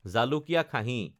জালুকীয়া খাহী